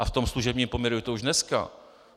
A v tom služebním poměru je to už dneska.